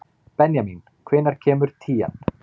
Benjamín, hvenær kemur tían?